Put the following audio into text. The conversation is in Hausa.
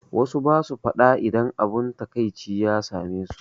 Wassu basu faɗa idan abun taƙaici ya same su